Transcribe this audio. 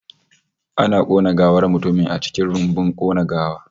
Ana kona gawar mutumin a cikin rumbun kona gawa